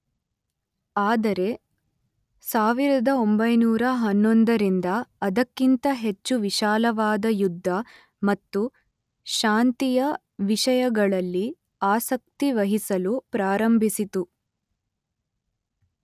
ಆದರೆ ಸಾವಿರದ ಒಂಬೈನೂರ ಹನ್ನೊಂದರಿಂದ ಅದಕ್ಕಿಂತ ಹೆಚ್ಚು ವಿಶಾಲವಾದ ಯುದ್ಧ ಮತ್ತು ಶಾಂತಿಯ ವಿಷಯಗಳಲ್ಲಿ ಆಸಕ್ತಿವಹಿಸಲು ಪ್ರಾರಂಭಿಸಿತು.